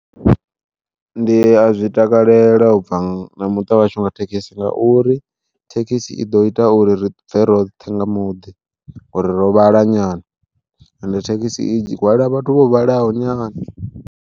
Ndi a zwi takalela ubva na muṱa wa hashu nga thekhisi ngauri thekhisi i ḓo ita uri ri bve roṱhe nga muḓi, ngauri ro vhala nyana ende thekhisi i hwala vhathu vho vhalaho nyana.